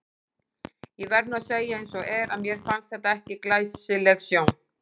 Ég verð nú að segja eins og er, að mér fannst þetta ekki glæsileg sjón.